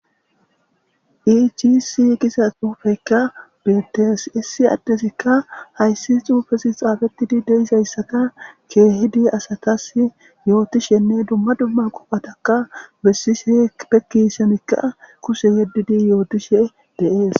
iichisi giza xuufekka beetees issi addesikka hayssi xuufesi xaafettidi deisayssaka keehidi asatas yootishenne dumma dumma qophataka bessishe pekki semikka kuse yeddidi yootishe de'es